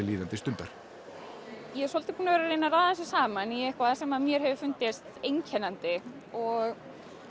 líðandi stundar ég er svolítið búin að að raða þessu saman í eitthvað sem mér hefur fundist einkennandi og